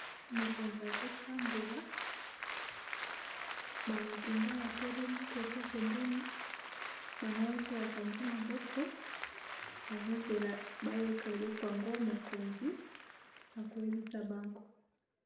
Mokonzi azotambola bamapinga batelemi koto pembeni bango nyonso bakangi maboko bazozela bayoka eloko yango mokonzi akoyebisa bango